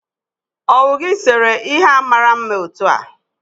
owu gi sere ihe a mara mma otu a?